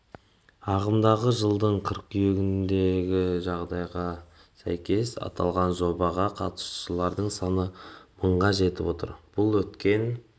жатыр ағымдағы жылдың қыркүйегіндегі жағдайға сәйкес аталған жобаға қатысушылардың саны мыңға жетіп отыр бұл өткен